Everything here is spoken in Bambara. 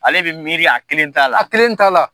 Ale bɛ miiri a kelen ta la. A kelen ta la.